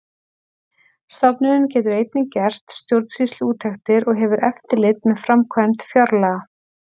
Stofnunin getur einnig gert stjórnsýsluúttektir og hefur eftirlit með framkvæmd fjárlaga.